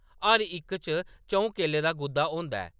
“हर इक च च’ऊं केले दा गुद्दा होंदा ऐ ।